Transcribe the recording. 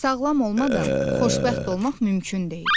Sağlam olmadan xoşbəxt olmaq mümkün deyil.